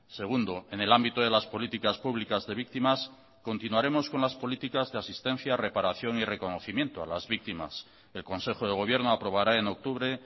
segundo en el ámbito de las políticas públicas de víctimas continuaremos con las políticas de asistencia reparación y reconocimiento a las víctimas el consejo de gobierno aprobará en octubre